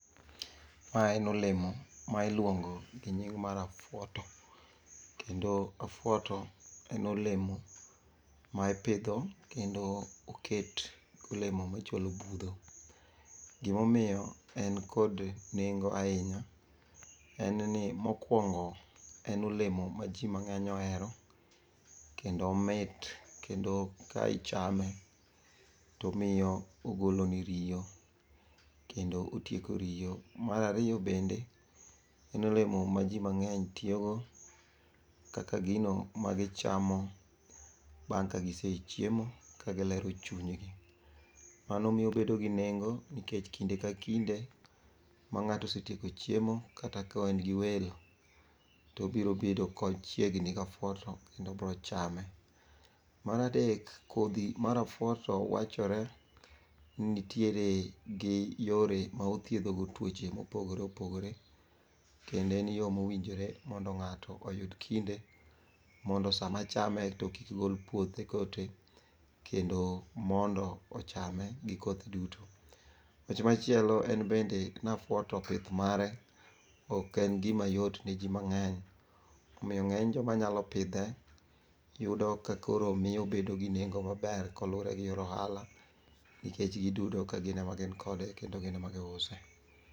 Ma en olemo ma iluongo gi nying mar afuoto, kendo afuoto en olemo ma ipidho kendo oket kolemo machalo budho. Gimomiyo en kod nengo ahinya, en ni mokwongo en olemo ma jimang'eny ohero. Kendo omit kendo ka ichame tomiyo ogoloni riyo kendo otieko riyo. Marariyo bende, en olemo ma jomang'eny tiyogo kaka gino magichamo bang' ka gisechiemo ka gilero chunygi. Mano miyo obedo gi nengo nikech kinde ka kinde ma ng'ato osetieko chiemo kata ka en gi welo, tobiro bedo kochiegni gafuoto kendo obiro chame. Maradek, kodhi mar afuoto wachore ni nitiere gi yore ma othiedhogo tuoche mopogore opogore, kendo en yo mowinjore mondo ng'ato oyud kinde mondo sama chame to kik gol puothe kote. Kendo mondo ochame gi kothe duto. Wach machielo en bende nafuoto pith mare ok en gima yot ne ji mang'eny. Omiyo ng'eny joma nyalo pidhe, yudo ka koro miyo obedo gi nengo maber kolure gi yor ohala. Nikech giduto ka gin ema gin kode kendo gin ema giuse.